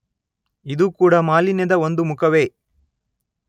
ಇದೂ ಕೂಡ ಮಾಲಿನ್ಯದ ಒಂದು ಮುಖವೇ.